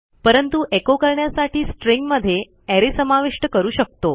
परंतु एचो करण्यासाठी स्ट्रिंग मध्ये अरे समाविष्ट करू शकतो